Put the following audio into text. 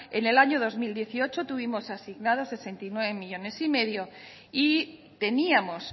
en el año dos mil dieciocho tuvimos asignados sesenta y nueve millónes y medio y teníamos